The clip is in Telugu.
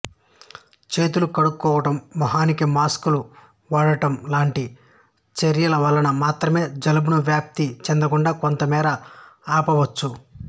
చేతులు కడుక్కోవడం ముఖానికి మాస్కులు వాడటం లాంటి చర్యల వలన మాత్రమే జలుబును వ్యాప్తి చెందకుండా కొంతమేర ఆపవచ్చు